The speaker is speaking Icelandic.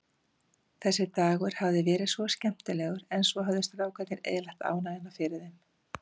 Þessi dagur hafði verið svo skemmtilegur, en svo höfðu strákarnir eyðilagt ánægjuna fyrir þeim.